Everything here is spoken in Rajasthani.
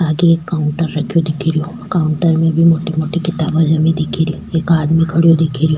आगे एक काउंटर रखयो दिखरियो काउंटर में भी मोटी मोटी किताबा जमी दिखेरी एक आदमी खड़ो दिखेरयो।